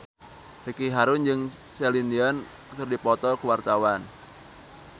Ricky Harun jeung Celine Dion keur dipoto ku wartawan